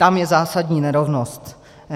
Tam je zásadní nerovnost.